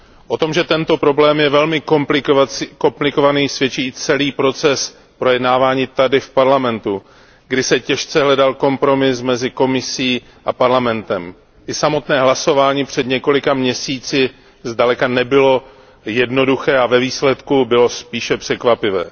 O tom, že tento problém je velmi komplikovaný, svědčí i celý proces projednávání tady v Parlamentu, kdy se těžce hledal kompromis mezi Komisí a Parlamentem. I samotné hlasování před několika měsíci zdaleka nebylo jednoduché a ve výsledku bylo spíše překvapivé.